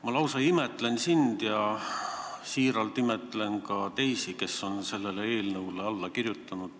Ma lausa imetlen sind ja imetlen ka teisi, kes on sellele eelnõule alla kirjutanud.